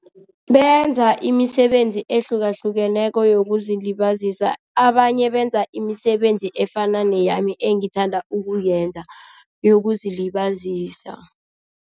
Benza imisebenzi ehlukahlukeneko yokuzilibazisa, abanye benza imisebenzi efana neyami engithanda ukuyenza yokuzilibazisa.